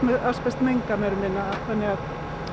allt asbestmengað meira og minna þannig að